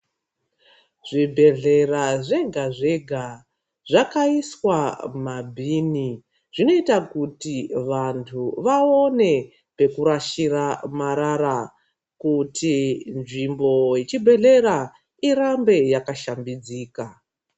Zvibhehlera zvega-zvega zvakaiswa mabhini zvinoita kuti vantu vaone pekurashira marara kuti nzvimbo yechibhedhlera irambe yakashambidzika.